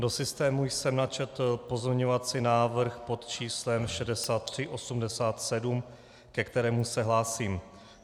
Do systému jsem načetl pozměňovací návrh pod číslem 6387, ke kterému se hlásím.